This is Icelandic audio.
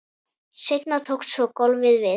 Seinna tók svo golfið við.